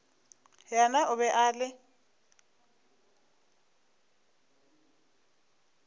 yena o be a le